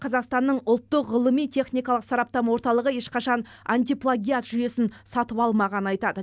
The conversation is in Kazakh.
қазақстанның ұлттық ғылыми техникалық сараптама орталығы ешқашан антиплагиат жүйесін сатып алмағанын айтады